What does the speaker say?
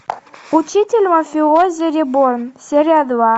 учитель мафиози реборн серия два